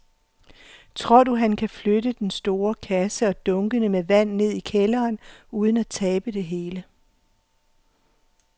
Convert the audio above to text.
Tror du, at han kan flytte den store kasse og dunkene med vand ned i kælderen uden at tabe det hele?